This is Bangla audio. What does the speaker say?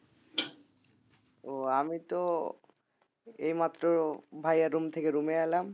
ও আমি তো এই মাত্র ভাইয়ার room থেকে room এ এলাম